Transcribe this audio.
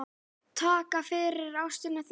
Takk fyrir ástina þína.